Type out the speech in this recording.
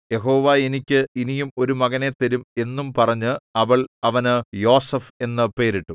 യഹോവ എനിക്ക് ഇനിയും ഒരു മകനെ തരും എന്നും പറഞ്ഞ് അവൾ അവന് യോസേഫ് എന്നു പേരിട്ടു